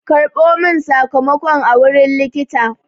Karɓo min sakamakon a wurin likita!